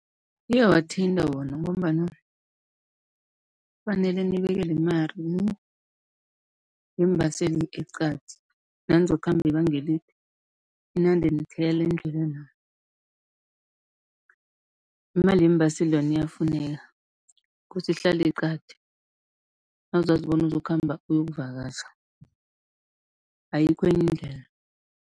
Iyawathinta wona, ngombana kufanele nibekele imali yeembaseli eqadi, nanizokukhamba ibanga elide ninande nithela endlelena. Imali yeembaseli yona iyafuneka, kosa ihlale eqadi nawuzazi bona uzokukhamba uyokuvakatjha, ayikho enye indlela.